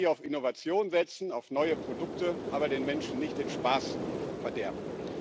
Wir sollten auch hier auf Innovation setzen, auf neue Produkte, aber den Menschen nicht den Spaß verderben.